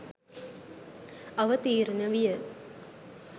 අවතීර්ණ විය.